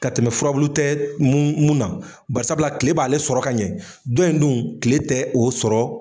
Ka tɛmɛ furabulu tɛ mun na barisabula kile b'ale sɔrɔ ka ɲɛ don in dun kile tɛ o sɔrɔ.